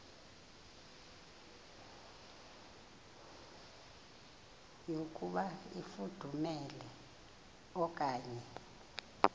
yokuba ifudumele okanye